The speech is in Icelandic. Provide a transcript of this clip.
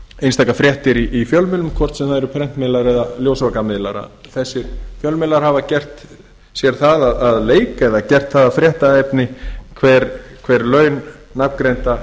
einstakar fréttir í fjölmiðlum hvort sem það eru prentmiðlar eða ljósvakamiðlar að þessir fjölmiðlar hafa gert sér það að leik eða gert það að fréttaefni hver laun nafngreindra